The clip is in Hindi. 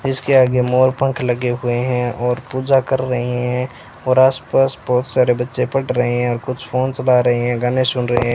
जिसके आगे मोर पंख लगे हुए हैं और पूजा कर रहे हैं और आस-पास बहोत सारे बच्चे पढ़ रहे हैं और कुछ फोन चला रहे हैं गाने सुन रहे है।